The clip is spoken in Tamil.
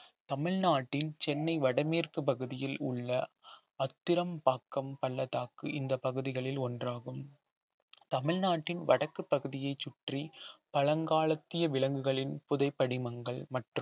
தமிழ்நாட்டின் சென்னை வடமேற்கு பகுதியில் உள்ள அத்திரம்பாக்கம் பள்ளத்தாக்கு இந்த பகுதிகளில் ஒன்றாகும் தமிழ்நாட்டின் வடக்குப் பகுதியைச் சுற்றி பழங்காலத்திய விலங்குகளின் புதை படிமங்கள் மற்றும்